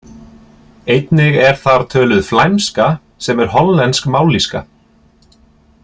Einnig er þar töluð flæmska sem er hollensk mállýska.